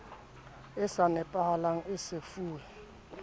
e sa nepahalang e sefuwe